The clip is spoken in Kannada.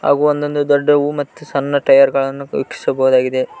ಹಾಗು ಒಂದೊಂದು ದೊಡ್ಡವು ಮತ್ತು ಸಣ್ಣ ಟಯರ ಗಳನ್ನು ವೀಕ್ಷಿಸಬಹುದಾಗಿದೆ.